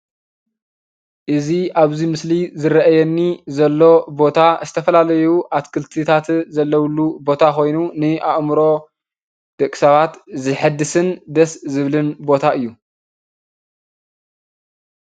እዚ ኣብዚ ምስሊ ዝርኣየኒ ዘሎ ቦታ ዝተፈላለዩ አትክልትታት ዘለውሉ ቦታ ኮይኑ ንአእምሮ ደቂ ሰባት ዝሕድስን ደስ ዝብል ቦታ እዩ።